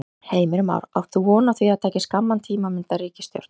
Heimir Már: Átt þú von á því að það taki skamman tíma að mynda ríkisstjórn?